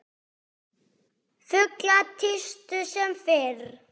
Fuglar tístu sem fyrr.